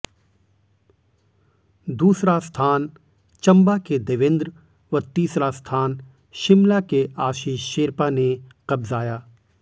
दूसरा स्थान चंबा के देवेंद्र व तीसरा स्थान शिमला के आशीष शेरपा ने कब्जाया